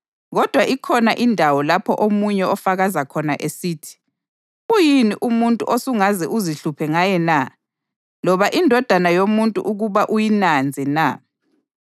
Kodwa ikhona indawo lapho omunye ofakaza khona esithi: “Uyini umuntu osungaze uzihluphe ngaye na, loba indodana yomuntu ukuba uyinanze na?